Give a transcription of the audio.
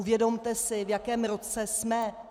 Uvědomte si, v jakém roce jsme.